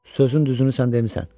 Sözün düzünü sən demisən.